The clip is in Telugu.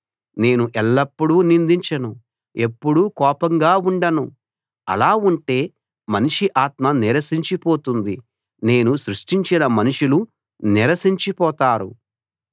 నేను ఎల్లప్పుడూ నిందించను ఎప్పుడూ కోపంగా ఉండను అలా ఉంటే మనిషి ఆత్మ నీరసించి పోతుంది నేను సృష్టించిన మనుషులు నీరసించి పోతారు